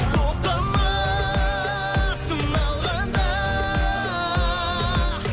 тоқтама сыналғанда